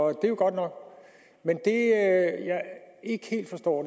er jo godt nok men jeg forstår